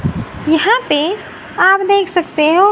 यहां पे आप देख सकते हो--